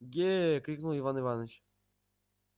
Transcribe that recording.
ге крикнул иван иваныч